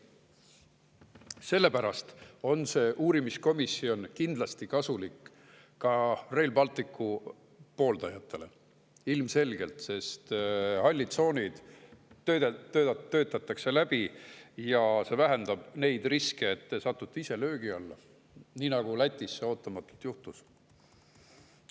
Sellepärast on see uurimiskomisjon kindlasti kasulik ka Rail Balticu pooldajatele, ilmselgelt, sest hallid tsoonid töötatakse läbi ja see vähendab neid riske, et te satute ise löögi alla, nii nagu Lätis ootamatult juhtus.